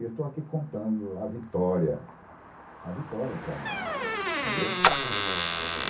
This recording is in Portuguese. E eu estou aqui contando a vitória, a vitória para mim, entendeu?